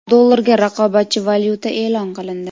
Dollarga raqobatchi valyuta e’lon qilindi.